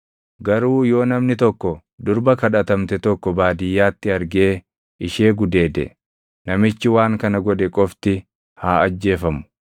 Garuu yoo namni tokko durba kadhatamte tokko baadiyyaatti argee ishee gudeede, namichi waan kana godhe qofti haa ajjeefamu.